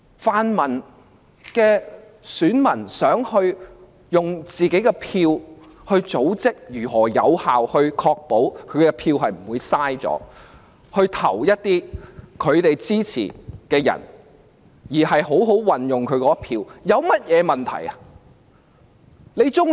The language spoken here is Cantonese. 泛民的選民想透過組織選票有效確保選票不會浪費，好好地把選票投給他們支持的人，我想問有甚麼問題？